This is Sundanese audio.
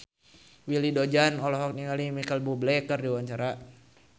Willy Dozan olohok ningali Micheal Bubble keur diwawancara